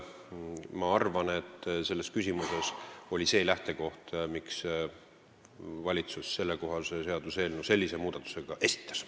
Ma arvan, et selles küsimuses oli see lähtekoht, miks valitsus sellekohase seaduseelnõu sellise muudatusega esitas.